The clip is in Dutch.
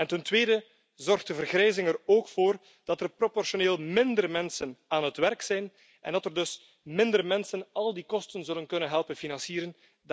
Ten tweede zorgt de vergrijzing er ook voor dat er proportioneel minder mensen aan het werk zijn en dat er dus minder mensen al die kosten zullen kunnen helpen financieren.